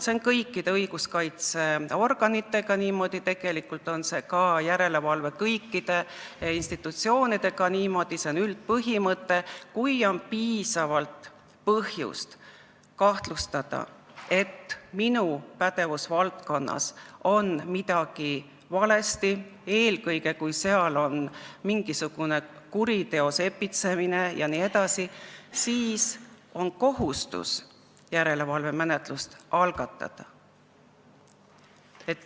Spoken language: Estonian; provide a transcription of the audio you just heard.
Kõikide õiguskaitseorganitega on niimoodi, tegelikult on see ka kõikide järelevalveinstitutsioonidega niimoodi, see on üldpõhimõte, et kui on piisavalt põhjust kahtlustada, et asutuse pädevusvaldkonnas on midagi valesti, eelkõige kui seal toimub mingisuguse kuriteo sepitsemine vms, siis on kohustus järelevalvemenetlus algatada.